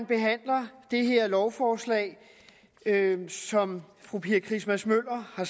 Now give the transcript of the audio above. behandler det her lovforslag som fru pia christmas møller har